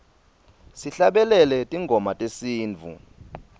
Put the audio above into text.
sihlabelele tingoma tesintfu